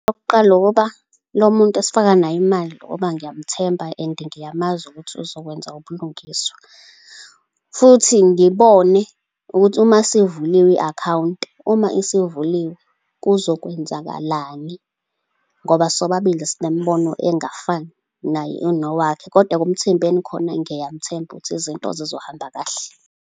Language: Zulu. Okokuqala ukuba lo muntu esifaka naye imali, ngoba ngiyamthemba and ngiyamazi ukuthi uzokwenza ubulungiswa, futhi ngibone ukuthi uma sivuliwe i-akhawunti, uma isivuliwe, kuzokwenzakalani, ngoba sobabili sinembono engafani. Naye unowakhe. Kodwa ekumthembeni khona ngiyamthemba ukuthi izinto zizohamba kahle.